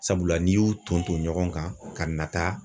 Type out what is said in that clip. Sabula n'i y'u ton ton ɲɔgɔn kan ka nata